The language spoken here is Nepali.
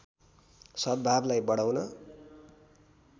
सद्‌भावलाई बढाउन